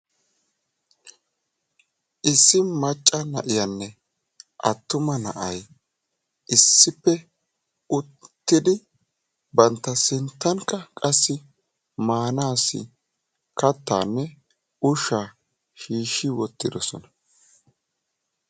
issi macca na'iyanne attuma na'ay issippe uttidi bantta sinttankka qassi maanassi kattanne ushsha shiishshi wottidoosona.